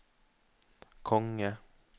konge